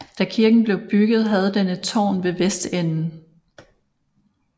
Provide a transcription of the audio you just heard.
Da kirken blev bygget havde den et tårn ved vestenden